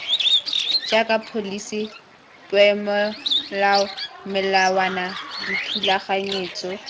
jaaka pholisi peomolao melawana dithulaganyetso